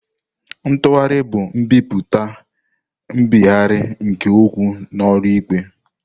Ntugharị bụ nbipute nbigharị nke okwu n'ụlọ ikpe.